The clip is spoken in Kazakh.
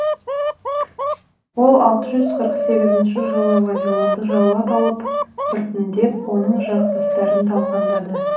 ол алты жүз қырық сегізінші жылы вавилонды жаулап алып біртіндеп оның жақтастарын талқандады